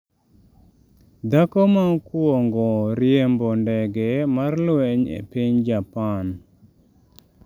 Dhako ma okuongo riembo ndege mar lweny e piny Japan